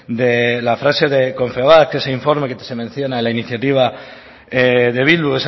la frase de confebask que ese informe que se menciona en la iniciativa de bildu